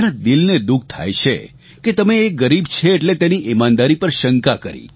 તેના દિલને દુઃખ થાય છે કે તમે એ ગરીબ છે એટલે તેની ઇમાનદારી પર શંકા કરી